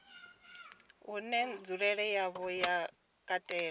une nzulele yawo ya katela